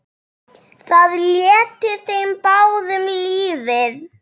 Það létti þeim báðum lífið.